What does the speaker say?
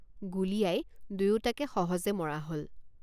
গুলীয়াই দুয়োটাকে সহজে মৰা হল।